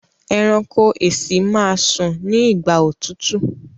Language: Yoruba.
ẹranko èsì má sùn ní igbà òtútù.